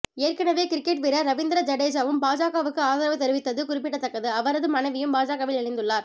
ஏற்கனவே கிரிக்கெட் வீரர் ரவீந்திர ஜடேஜாவும் பாஜகவுக்கு ஆதரவு தெரிவித்தது குறிப்படத்தக்கது அவரது மனைவியும் பாஜகவில் இணைத்துள்ளார்